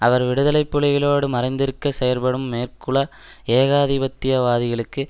அவர் விடுதலை புலிகளோடு மறைந்திருக்க செயற்படும் மேற்குலக ஏகாதிபத்தியவாதிகளுக்கு